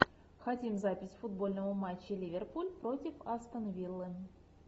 хотим запись футбольного матча ливерпуль против астон виллы